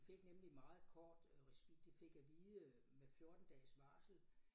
De fik nemlig meget kort øh regi de fik at vide øh med 14 dages varsel